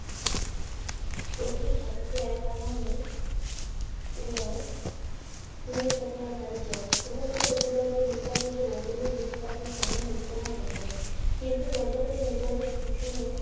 লক্ষ্মীর ঝাঁপিতে একআনাও নেই। এবং উনুনে চাপাল এক হাড়ি জল। ফোটানোর পর রতনের ঘরে ঘোমটা দিয়ে এসে সামনেই মুদিখানার দোকানে। কিন্তু দরজা খুলে নিজের বাড়ির পিছনে